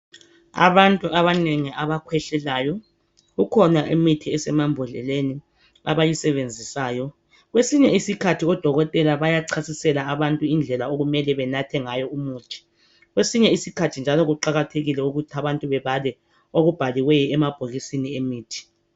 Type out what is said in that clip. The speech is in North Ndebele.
Abantu abanengi abakhwehlelayo kukhona imithi esemambodleleni abayisebenzisayo kwesinye isikhathi odokotela bayachasisela abantu indlela okumele benathe ngayo imuthi kwesinye isikhathi njalo kuqakathekile ukuthi abantu bebale okubhaliweyo emabhokisini emithi.